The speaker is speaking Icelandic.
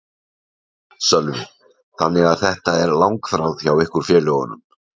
Sölvi: Þannig að þetta er langþráð hjá ykkur félögunum?